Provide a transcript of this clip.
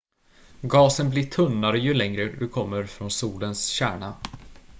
gasen blir tunnare ju längre du kommer från solens kärna